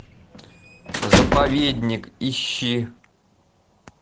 заповедник ищи